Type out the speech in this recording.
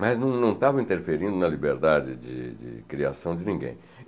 Mas não não estavam interferindo na liberdade de de criação de ninguém.